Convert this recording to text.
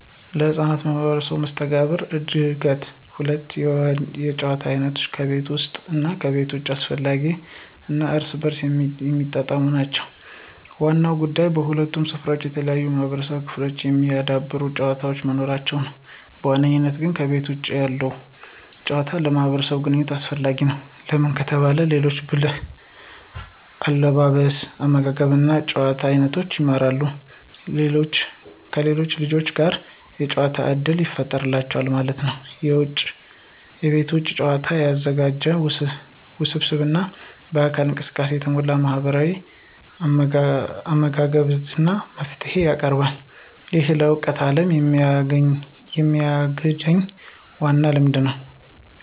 ለሕፃናት ማህበራዊ መስተጋብር እድገት ሁለቱም የጨዋታ አይነቶች (ከቤት ውስጥ እና ከቤት ውጭ) አስፈላጊ እና እርስ በርስ የሚጣጣሙ ናቸው። ዋናው ጉዳይ በሁለቱም ስፍራዎች የተለያዩ የማህበራዊ ክህሎቶችን የሚያዳብሩ ጨዋታዎች መኖራቸው ነው። በዋነኝነት ግን ከቤተ ውጭ ያለው ጭዋታ ለማህብራዊ ግንኝነት አሰፈላጊ ነው። ለምን ከተባለ የሌሎች ብህል አለባበስ አመጋገብ እና የጭዋታ አይኖቶችን ይማራሉ። ከሌሎች ልጆች ጋር የጋር ጨዋታ እድል ይፍጠሩላቸዋል ማለት ነው። የቤት ውጭ ጨዋታ ያልተዘጋጀ፣ ውስብስብ እና በአካላዊ እንቅስቃሴ የተሞላ ማህበራዊ አለመግባባትን እና መፍትሄን ያቀርባል። ይህ ለእውነተኛው ዓለም የሚያግኝ ዋና ልምድ ነው።